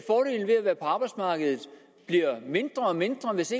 være på arbejdsmarkedet bliver mindre og mindre hvis